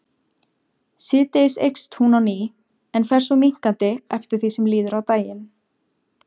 Síðdegis eykst hún á ný en fer svo minnkandi eftir því sem líður á daginn.